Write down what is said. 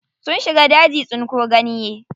Sun shiga daji tsinko ganye.